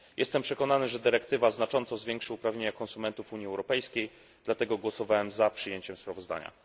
Jestem przekonany, że dyrektywa znacząco zwiększy uprawnienia konsumentów Unii Europejskiej, dlatego głosowałem za przyjęciem sprawozdania.